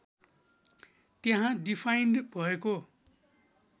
त्यहाँ डिफाइन्ड भएको